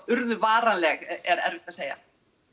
urðu varanleg er erfitt að segja